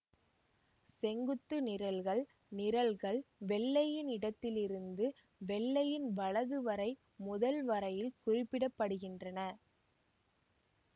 செங்குத்துக் நிரல்கள் நிரல்கள் வெள்ளையின் இடத்தில் இருந்து வெள்ளையின் வலது வரை முதல் வரையில் குறிப்பிட படுகின்றன